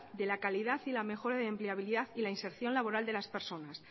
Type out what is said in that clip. de la calidad y la mejora de la empleabilidad y la inserción laboral de las personas